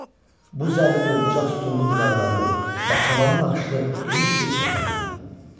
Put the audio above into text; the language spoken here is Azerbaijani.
Bu zərli dördbucaq sütunlu divarları və tavanı naxışlı geniş bir otaqdır.